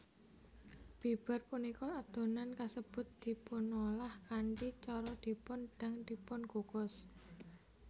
Bibar punika adonan kasebut dipunolah kanthi cara dipun dang dipunkukus